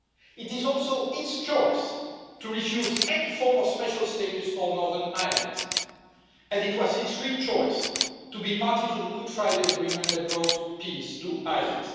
It is also its choice to refuse any form of special status for Northern Ireland, and it was its free choice to be party to the Good Friday Agreement that brought peace to Ireland.